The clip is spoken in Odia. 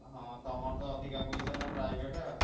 ହଁ ତମର ତ ଅଧିକା ପଇସା ନା private ।